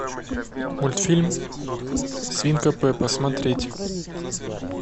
мультфильм свинка пеппа смотреть